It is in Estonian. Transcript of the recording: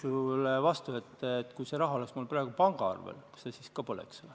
Ütlen vastu, et kui see raha oleks mul praegu pangaarvel, siis see ka põleks ju.